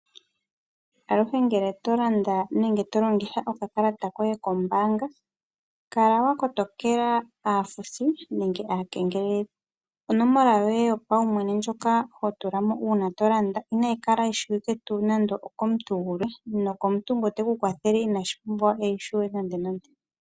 Omuntu ngele to Landa nenge to longitha okakalata koye kombaanga kala wa kotokela aafuthi nenge aakengeleledhi onomola yoye yopaumwene ndjoka ho tula mo uuna tolanda inayi kala yi shiwike nande okomuntu gumwe ,nomuntu ngoka teku kwathele ina pumbwa okuyitseya .